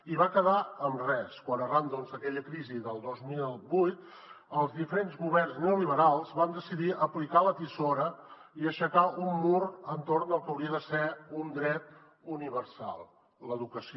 i va quedar en res quan arran d’aquella crisi del dos mil vuit els diferents governs neoliberals van decidir aplicar la tisora i aixecar un mur entorn del que hauria de ser un dret universal l’educació